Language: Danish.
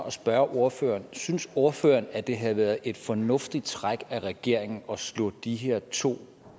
at spørge ordføreren synes ordføreren at det havde været et fornuftigt træk af regeringen at slå de her to